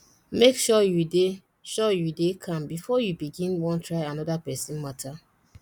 mek sure yu dey sure yu dey calm bifor you begin wan try anoda pesin mata